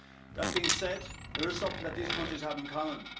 That being said, there is something that these countries have in common.